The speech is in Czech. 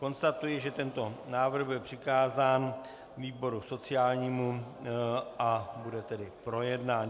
Konstatuji, že tento návrh byl přikázán výboru sociálnímu, a bude tedy projednán.